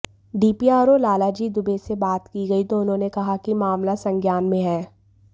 DPRO Lalji Dubey से बात की गई तो उन्होंने कहाकि मामला संज्ञान में है